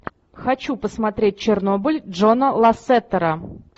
хочу посмотреть чернобыль джона лассетера